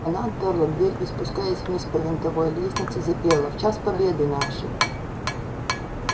она отперла дверь и спускаясь вниз по винтовой лестнице запела в час победы нашей